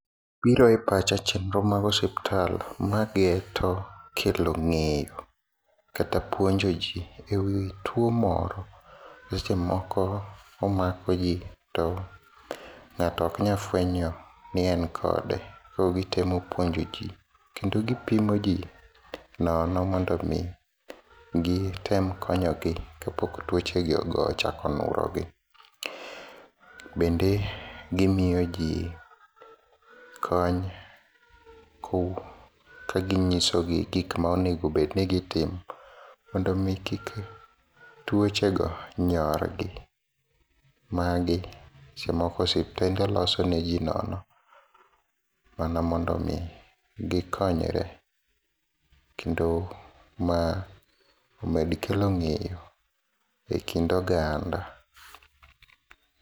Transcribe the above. Biro e pacha chenro mag osiptal magie to kelo ng'eyo kata puonjo jii ewi tuo moro sechemoko omako jii to ng'ato oknya fuenyo ni en kode, koro gitemo puonjo jii kendo gipimo jii nono mondomi gitem konyogi kapok tuochegi ochako nurogi, bende gimiyo jii kony kaginyisogi gikma onego bedni gitimo mondomi kik tuochego nyorgi. Magi sechemoko suptende loso neji nono mana mondomi gikonyre, kendo mae omed kelo ng'eyo e kind oganda.